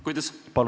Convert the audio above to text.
Palun küsimust!